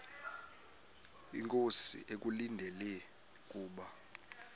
inkosi ekulindele kubo